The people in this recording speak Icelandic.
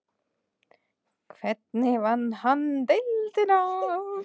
Hvernig vann hann deildina?